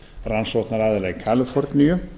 rannsóknaraðila í kaliforníu